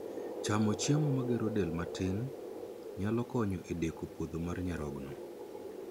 Chamo chiemo ma gero del matin nyalo konyo e deko podho mar nyarogno